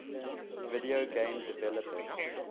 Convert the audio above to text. video game developers